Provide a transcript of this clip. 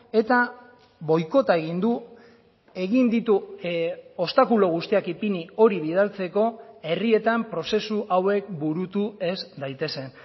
eta boikota egin du egin ditu obstakulo guztiak ipini hori bidaltzeko herrietan prozesu hauek burutu ez daitezen